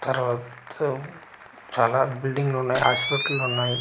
తర్వాత చాలా బిల్డింగ్ లున్నాయి హాస్పటలున్నాయి .